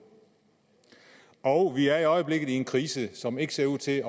og vi er i øjeblikket i en krise som ikke ser ud til at